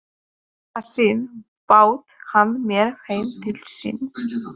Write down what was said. Í þetta sinn bauð hann mér heim til sín.